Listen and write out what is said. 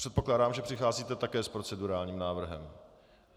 Předpokládám, že přicházíte také s procedurálním návrhem.